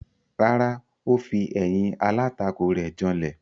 Rárá, ó fi ẹ̀yìn alátakò rẹ̀ janlẹ̀.